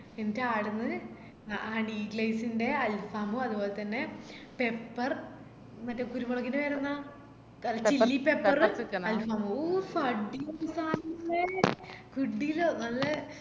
എന്നിറ്റ് ആട്ന്ന് honey lays ന്ടെ alfam ഉം അത്പോലെതന്നെ pepper മറ്റേ കുരുമുളകിൻറെ പേരെന്ന chilly pepper ഉം alfam ഉം ഊ അടിപൊളി സാനം മോളെ കിടിലം നല്ലേ